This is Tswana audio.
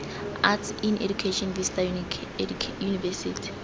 arts in education vista university